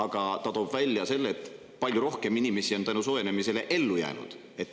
Samas toob see välja ka selle, et palju rohkem inimesi on tänu sellele soojenemisele ellu jäänud.